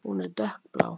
Hún er dökkblá.